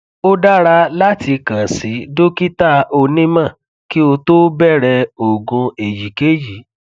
o dara latikan si dokita onimo ki o to bere ogun eyikeyi